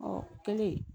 Ɔ o kɛlen